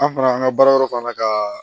An fana an ka baara yɔrɔ fana ka